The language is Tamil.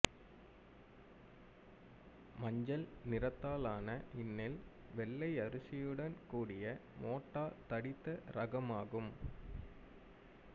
மஞ்சள் நிறத்தாலான இந்நெல் வெள்ளை அரிசியுடன் கூடிய மோட்டா தடித்த இரகமாகும்